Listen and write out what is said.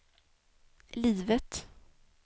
livet